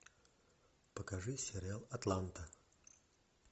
покажи сериал атланта